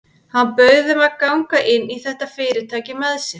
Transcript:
Hann bauð þeim að ganga inn í þetta fyrirtæki með sér.